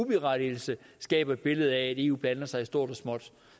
berettigelse skaber et billede af at eu blander sig i stort og småt